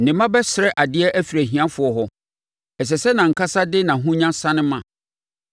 Ne mma bɛsrɛ adeɛ afiri ahiafoɔ hɔ; ɛsɛ sɛ nʼankasa de nʼahonya sane ma.